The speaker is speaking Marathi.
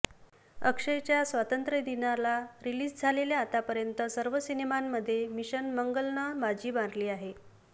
अक्षयच्या स्वातंत्र्य दिनाला रिलीज झालेल्या आतापर्यंत सर्व सिनेमांमध्ये मिशन मंगलनं बाजी मारली आहे